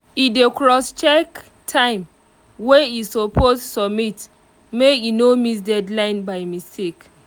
e dey crosscheck time wey e suppose submit make e no miss deadline by mistake